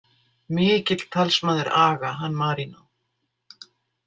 Mikill talsmaður aga, hann Marínó.